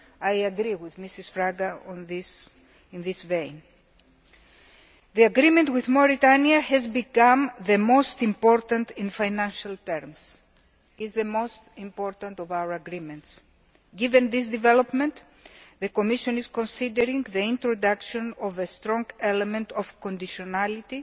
I agree with Mrs Fraga on this matter. The agreement with Mauritania has become the most important in financial terms it is the most important of our agreements. Given this development, the Commission is considering the introduction of a strong element of conditionality